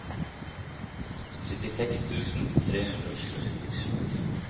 syttiseks tusen tre hundre og tjue